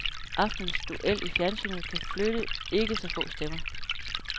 Aftenens duel i fjernsynet kan flytte ikke så få stemmer.